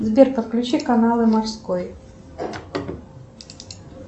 сбер подключи каналы морской